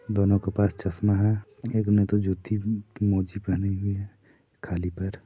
दोनों के पास चश्मा है। एक ने तो जूती ऊ मोजी पहनी हुई है खाली पैर--